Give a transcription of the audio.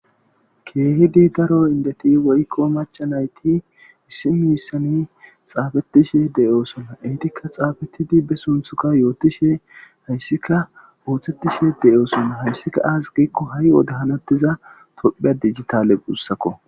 Kehidi daro indeti woykon mac'a nayti issi mishan xafetishe de'osona entika xapetidi be sunthuka yotishe haysika osetishe de'osona haysika azegiko hayota hanetiza tophiya dijitale gusakko